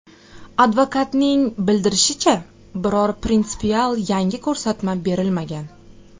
Advokatning bildirishicha, biror prinsipial yangi ko‘rsatma berilmagan.